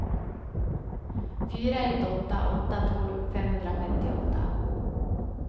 fyra ett åtta åtta tolv femhundrafemtioåtta